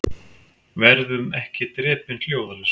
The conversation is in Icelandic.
Verðum ekki drepin hljóðalaust